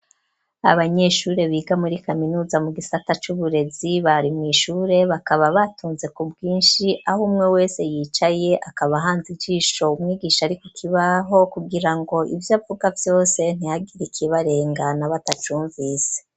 Abanyeshure biga muri kaminuza mu gisata c'uburezi bari mw'ishure bakaba batonze ku bwishi aho umwe wese yicaye akaba ahanze ijisho umwigisha ari ku kibaho kugirango ivyo avuga vyose ntihagire iki barengana batacumvise